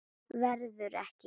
Verður ekki.